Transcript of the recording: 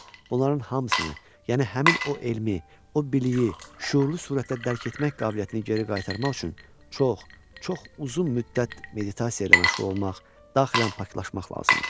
Bunların hamısını, yəni həmin o elmi, o biliyi şüurlu surətdə dərk etmək qabiliyyətini geri qaytarmaq üçün çox, çox uzun müddət meditasiya ilə məşğul olmaq, daxilən paklaşmaq lazımdır.